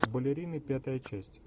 балерины пятая часть